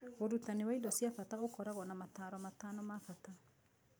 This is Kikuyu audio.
Ũrutani wa indo cia bata ũkoragwo na motaaro matano ma bata.